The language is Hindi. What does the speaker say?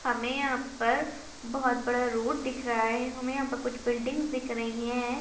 हमे यहाँ पर बहोत बड़ा रोड दिख रहा है हमे यहाँ पर कुछ बिल्डिंग्स दिख रही है।